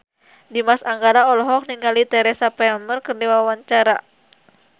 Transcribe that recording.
Dimas Anggara olohok ningali Teresa Palmer keur diwawancara